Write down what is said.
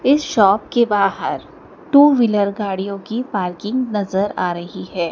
इस शॉप के बाहर टू व्हीलर गाड़ियों की पार्किंग नजर आ रही है।